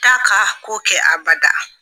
T'a ka ko kɛ abada.